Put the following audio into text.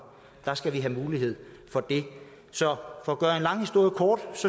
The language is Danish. der skal være mulighed for det så for at gøre en lang historie kort